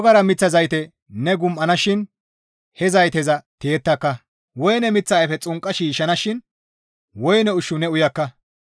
Ne zerana shin maxakka; wogara miththa zayte ne gum7ana shin he zayteza tiyetta; woyne miththa ayfe xunqqa shiishshanashin woyne ushshu ne uyakka.